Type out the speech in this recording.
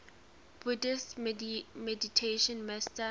buddhist meditation master